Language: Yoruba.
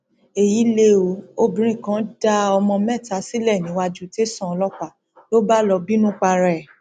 èyí lẹ ó obìnrin kan dá ọmọ mẹta sílẹ níwájú tẹsán ọlọpàá ló bá lọọ bínú para ẹ